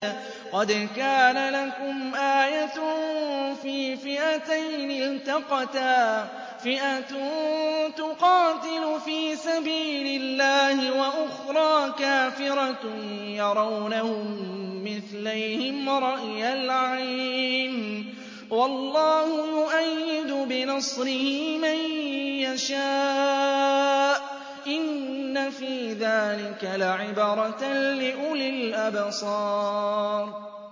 قَدْ كَانَ لَكُمْ آيَةٌ فِي فِئَتَيْنِ الْتَقَتَا ۖ فِئَةٌ تُقَاتِلُ فِي سَبِيلِ اللَّهِ وَأُخْرَىٰ كَافِرَةٌ يَرَوْنَهُم مِّثْلَيْهِمْ رَأْيَ الْعَيْنِ ۚ وَاللَّهُ يُؤَيِّدُ بِنَصْرِهِ مَن يَشَاءُ ۗ إِنَّ فِي ذَٰلِكَ لَعِبْرَةً لِّأُولِي الْأَبْصَارِ